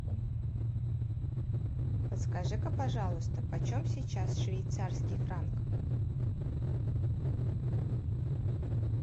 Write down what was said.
подскажи ка пожалуйста почем сейчас швейцарский франк